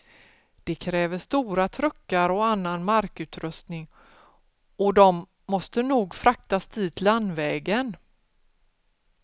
Det kräver stora truckar och annan markutrustning, och de måste nog fraktas dit landvägen.